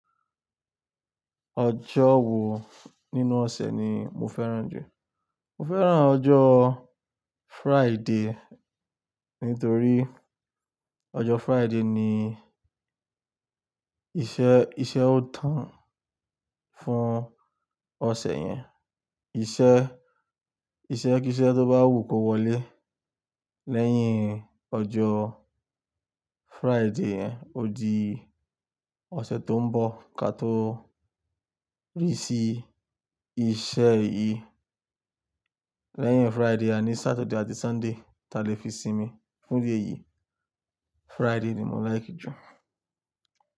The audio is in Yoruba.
Ọjọ́ wo nínú ọ̀sẹ̀ ni mo fẹ́ràn jù? Mo fẹ́ràn ọjọ́ Friday nítorí ọjọ́ Friday ni iṣẹ́, iṣẹ́ ó tán fún ọ̀sẹ̀ yẹn. Iṣẹ́, iṣẹ́ kí iṣẹ́ tó bá wù kó wọlé lẹ́yìn ọjọ́ Friday, ó di ọ̀sẹ̀ tó ń bọ̀ kí a tó rí sí iṣẹ́ yìí. Lẹ́yìn Friday àní Saturday àti Sunday ta lè fi sinmi. Fún idi èyí, Friday ni mo like jù.